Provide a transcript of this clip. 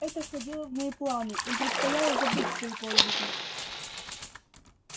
это входило в мои планы им предстояло забыть свои подвиги